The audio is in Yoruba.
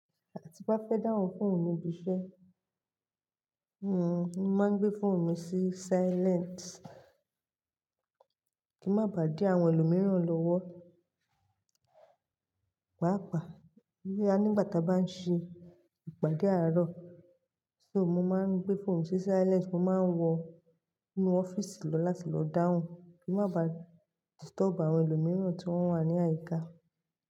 À ti n bá fẹ́ dáhùn fóònù nibi iṣẹ́, hmm, mo máa ń gbé fóònù mi sí silent kí n má bà dí àwọn ẹlòmíràn lọ́wọ́. Pàápàá, boya nígbà ta bá ń ṣe ìpàdé àárọ̀, só mo máa ń gbé fóònù mi sí silent mo máa ń wọ inú ọ́fíìsì lọ láti lọ dáhùn kí n má bà disturb àwọn ẹlòmíràn tí wọ́n wà ní àyíká.